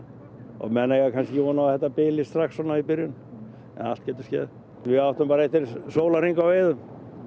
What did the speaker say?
og menn eiga ekki von á að þetta bili strax í byrjun allt getur skeð við áttum eftir sólarhring á veiðum